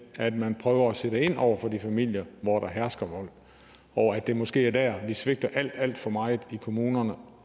at man prøver at sætte ind over for de familier hvor der hersker vold og at det måske er der vi svigter alt alt for meget i kommunerne